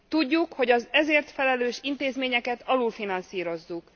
Tudjuk, hogy az ezért felelős intézményeket alulfinanszírozzuk.